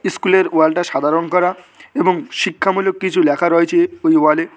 স্কুলের ওয়ালটা সাদা রং করা এবং শিক্ষামূলক কিছু লেখা রয়েছে ওই ওয়ালে।